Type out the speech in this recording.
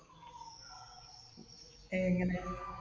ഏങ്ങനെ?